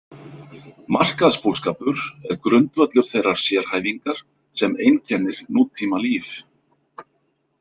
Markaðsbúskapur er grundvöllur þeirrar sérhæfingar sem einkennir nútímalíf.